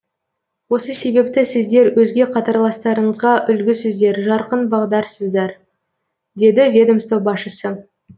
осы себепті сіздер өзге қатарластарыңызға үлгісіздер жарқын бағдарсыздар деді ведомство басшысы